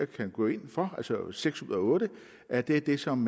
kan gå ind for seks ud af otte er det er det som